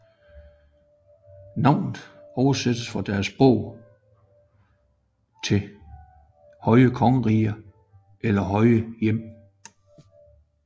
Navnet oversættes fra deres sprog til høje kongerige eller høje hjem